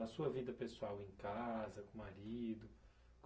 A sua vida pessoal em casa, com o marido?